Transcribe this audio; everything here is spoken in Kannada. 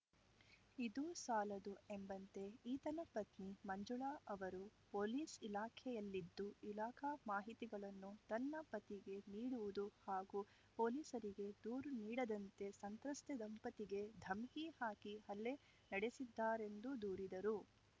ಇದು ಸಾಲದು ಎಂಬಂತೆ ಈತನ ಪತ್ನಿ ಮಂಜುಳ ಅವರು ಪೊಲೀಸ್‌ ಇಲಾಖೆಯಲ್ಲಿದ್ದು ಇಲಾಖಾ ಮಾಹಿತಿಗಳನ್ನು ತನ್ನ ಪತಿಗೆ ನೀಡುವುದು ಹಾಗೂ ಪೊಲೀಸರಿಗೆ ದೂರು ನೀಡದಂತೆ ಸಂತ್ರಸ್ತೆ ದಂಪತಿಗೆ ಧಮಕಿ ಹಾಕಿ ಹಲ್ಲೆ ನಡೆಸಿದ್ದಾರೆಂದು ದೂರಿದರು